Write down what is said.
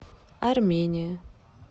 армения